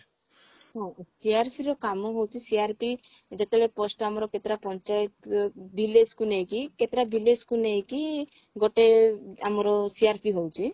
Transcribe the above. ହଁ CRP ର କାମ ହଉଛି CRP ଯେତେବେଳେ post ଆମର କେତେଟା ପାଞ୍ଚାୟତ village କୁ ନେଇକି କେତେଟା village କୁ ନେଇକି ଗୋଟେ ଆମର CRP ହଉଛି